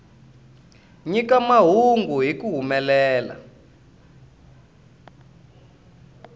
nyika mahungu hi ku humelela